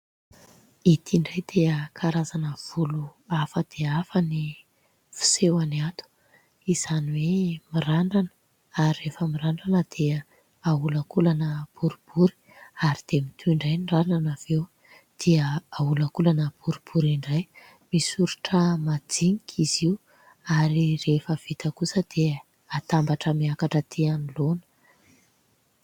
Itỳ idray dia karazana volo hafa dia hafa ny fisehony ato, izany hoe mirandrana ary rehefa mirandrana dia aholankolana boribory ary dia mitohy indray ny randrana avieo dia aholankolana boribory indray. Misoritra madinika izy io ary rehefa vita kosa dia atambatra miakatra atỳ anoloana.